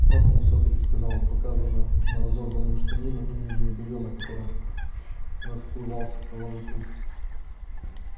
цапнул все таки сказал он показывая на разорванную штанину и нижнее белье на котором расплывался кровавый круг